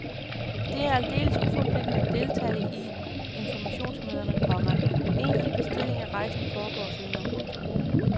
Det er aldeles uforpligtende at deltage i informationsmøderne, komma egentlig bestilling af rejsen foregår senere. punktum